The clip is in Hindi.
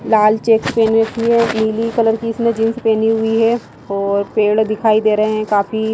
लाल चेक पहन रखी है नीली कलर की इसने जींस पहनी हुई हैऔर पेड़ दिखाई दे रहे हैंकाफी --